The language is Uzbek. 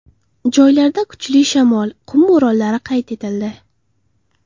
Joylarda kuchli shamol, qum bo‘ronlari qayd etildi.